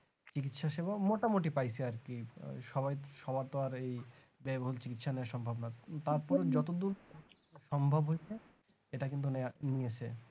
চিকিৎসা সেবা মোটামুটি পাইছে আর কি সবাই সবার তো আর এই ব্যায়বহুল চিকিৎসা নেওয়া সম্ভব না তারপর যতদূর সম্ভব হয়েছে এটা কিন্তু নিয়েছে